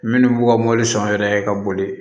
Minnu b'u ka mɔbili san u yɛrɛ ye ka boli